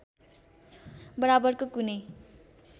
बराबरको कुनै